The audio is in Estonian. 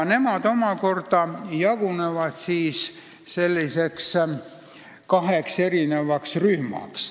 Nemad omakorda jagunevad kaheks rühmaks.